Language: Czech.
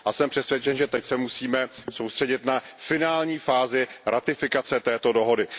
A jsem přesvědčen, že teď se musíme soustředit na finální fázi ratifikace dohody.